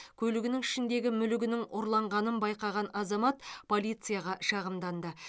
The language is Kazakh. көлігінің ішіндегі мүлігінің ұрланғанын байқаған азамат полицияға шағымданды